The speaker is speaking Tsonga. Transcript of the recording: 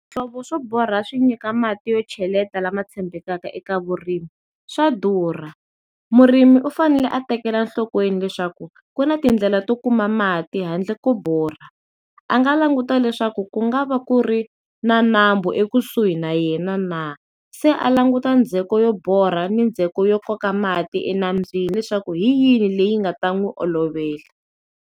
Swihlovo swo borha swi nyika mati yo cheleta lama tshembekanga eka vurimi swa durha, murimi u fanele a tekela enhlokweni leswaku ku na tindlela to kuma mati handle ko borha, a nga languta leswaku ku nga va ku ri na nambu ekusuhi na yena na, se a languta ndzheko yo borha ni ndzheko yo koka mati enambyeni leswaku hi yini leyi nga ta n'wi olovela.